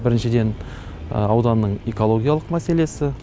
біріншіден ауданның экологиялық мәселесі